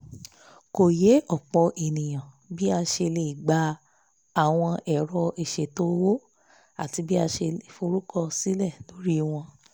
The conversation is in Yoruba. kò yé ọ̀pọ̀ ènìyàn bí a ṣe lè gba àwọn ẹ̀rọ ìsètò owó àti bí a ṣe forúkọ sílẹ̀ lórí wọn